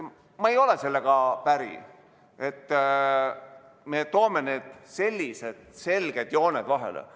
Ma ei ole sellega päri, et me toome sellised selged jooned vahele.